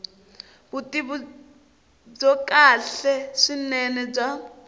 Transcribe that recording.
vutivi byo kahle swinene bya